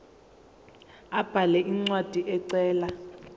abhale incwadi ecela